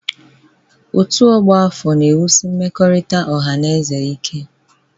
Ọ́tù ọgbọ afọ na-ewusi mmekọrịta ọha na eze ike.